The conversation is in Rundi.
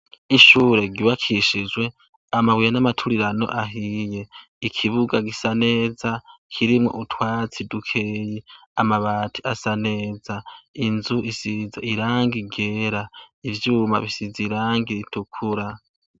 Ishure ryubakishijwe ambuye n'amaturirano ahiye, ikibuga gisa neza kirimwo utwatsi dukeyi. Amabati asa neza, inzu isize irangi ryera, ivyuma bisize irangi ritukura.